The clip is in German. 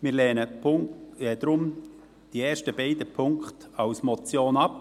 Wir lehnen deshalb die ersten beiden Punkte als Motion ab.